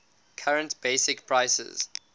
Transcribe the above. current basic prices